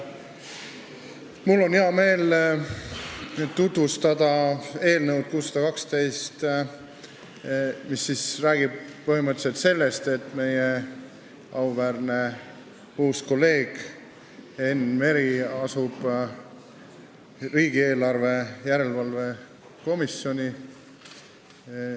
Mul on hea meel tutvustada eelnõu 612, mis räägib sellest, et meie auväärne uus kolleeg Enn Meri asub tööle riigieelarve kontrolli erikomisjonis.